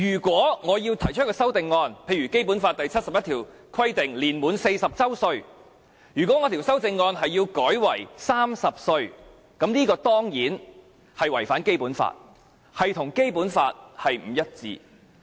舉例來說，《基本法》第七十一條規定立法會主席須年滿40周歲，如果我提出一項修正案要把它改為30周歲，這當然是違反《基本法》，與《基本法》不一致。